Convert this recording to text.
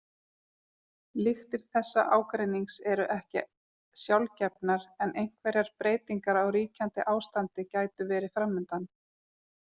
Lyktir þessa ágreinings eru ekki sjálfgefnar en einhverjar breytingar á ríkjandi ástandi gætu verið framundan.